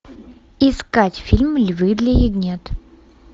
искать фильм львы для ягнят